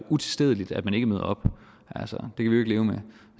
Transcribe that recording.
utilstedeligt at man ikke møder op altså